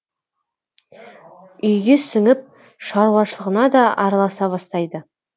үйге сіңіп шаруашылығына да араласа бастайды